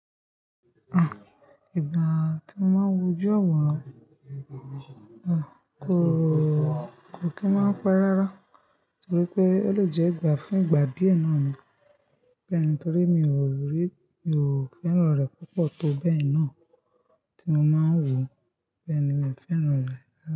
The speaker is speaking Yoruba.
Àn, ìgbà tí mo máa ń wojú awọ́ran, àn, kò, kò kí máa ń pe rárá torí pé ó lè jẹ́ ìgbà fún ìgbà díẹ̀ náà ni. Bẹ́ẹ̀ni torí mi ò rí, mi ò fẹ́ràn rẹ̀ púpọ̀ tó bẹ́ẹ̀ náà tí mo máa ń wò ó. Bẹ́ẹ̀ni mi ò fẹ́ràn rẹ̀ rárá.